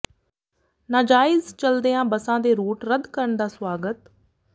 ਨਾਜਾਇਜ਼ ਚੱਲਦੀਆਂ ਬੱਸਾਂ ਦੇ ਰੂਟ ਰੱਦ ਕਰਨ ਦਾ ਸਵਾਗਤ